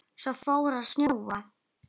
Svo fór að snjóa.